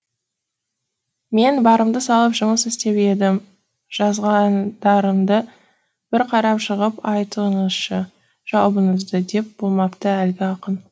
мен барымды салып жұмыс істеп едім жазғандарымды бір қарап шығып айтыңызшы жауабыңызды деп болмапты әлгі ақын